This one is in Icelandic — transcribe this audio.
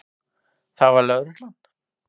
Það var lögreglan.